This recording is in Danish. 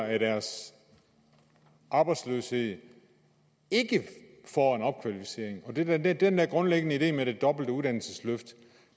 af deres arbejdsløshed ikke får en opkvalificering den den der grundlæggende idé med det dobbelte uddannelsesløft